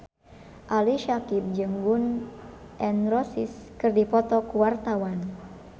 Ali Syakieb jeung Gun N Roses keur dipoto ku wartawan